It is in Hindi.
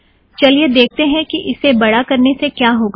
चलिए देखतें हैं कि इसे बड़ा करने से क्या होगा